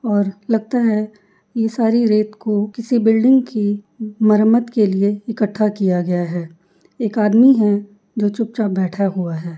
और लगता है ये सारी रेत को किसी बिल्डिंग की मरम्मत के लिए इकट्ठा किया गया है। एक आदमी है जो चुपचाप बैठा हुआ है।